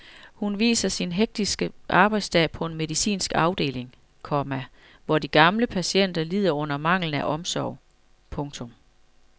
Hun viser sin hektiske arbejdsdag på en medicinsk afdeling, komma hvor de gamle patienter lider under manglen på omsorg. punktum